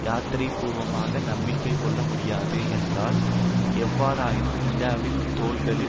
யதார்த்தபூர்வமாக நம்பிக்கை கொள்ளமுடியாது என்றால் எவ்வாறாயினும் இந்தியாவின் தோள்களில்